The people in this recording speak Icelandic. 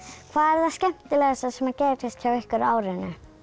hvað er það skemmtilegast sem gerðist hjá ykkur á árinu